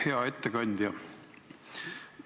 Hea ettekandja!